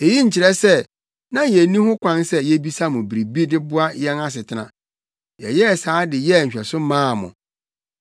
Eyi nkyerɛ sɛ na yenni ho kwan sɛ yebisa mo biribi de boa yɛn asetena. Yɛyɛɛ saa de yɛɛ nhwɛso maa mo.